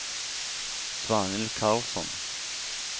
Svanhild Karlsson